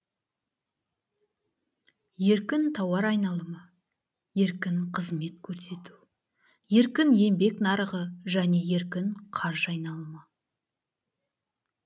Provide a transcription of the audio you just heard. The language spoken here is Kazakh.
еркін тауар айналымы еркін қызмет көрсету еркін еңбек нарығы және еркін қаржы айналымы